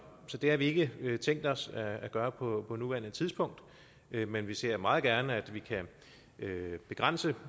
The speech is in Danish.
det har vi ikke tænkt os at gøre på nuværende tidspunkt men vi ser meget gerne at vi kan begrænse